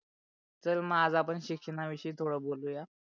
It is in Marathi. तर आज पण शिक्षणा विषयी थोड बोलूया.